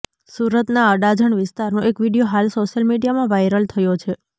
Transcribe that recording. સુરતના અડાજણ વિસ્તારનો એક વીડિયો હાલ સોશિયલ મીડિયામાં વાયરલ થયો છે